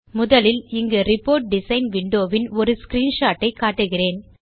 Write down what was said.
முதலில் இங்கு report design window வின் ஒரு ஸ்கிரீன்ஷாட் ஐ காட்டுகிறேன்